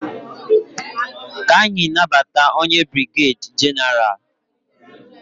Ka anyị nabata onye brigeda genaralu.